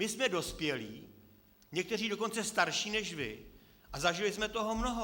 My jsme dospělí, někteří dokonce starší než vy, a zažili jsme toho mnoho.